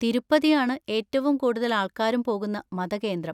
തിരുപ്പതിയാണ് ഏറ്റവും കൂടുതൽ ആൾക്കാരും പോകുന്ന മതകേന്ദ്രം.